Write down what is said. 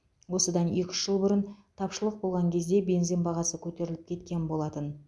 осыдан екі үш жыл бұрын тапшылық болған кезде бензин бағасы көтеріліп кеткен болатын